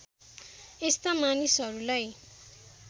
यस्ता मानिसहरूलाई